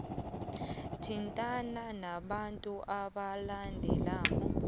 thintana nabantu abalandelako